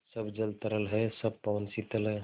सब जल तरल है सब पवन शीतल है